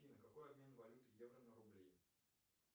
афина какой обмен валюты евро на рубли